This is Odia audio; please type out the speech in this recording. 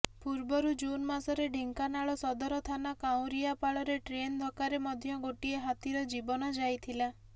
ପୂର୍ବରୁ ଜୁନ୍ ମାସରେ ଢେଙ୍କାନାଳ ସଦର ଥାନା କାଉଁରିଆପାଳରେ ଟ୍ରେନ୍ ଧକ୍କାରେ ମଧ୍ୟ ଗୋଟିଏ ହାତୀର ଜୀବନ ଯାଇଥିଲା